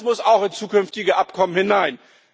Das muss auch in zukünftige Abkommen hinein.